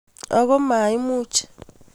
Ako maimucg